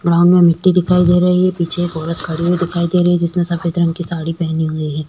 Ground में मिटटी दिखाई दे रही है पीछे एक औरत खड़ी हुई दिखाई दे रही है जिसने सफेद रंग की साड़ी पहनी हुई हैं।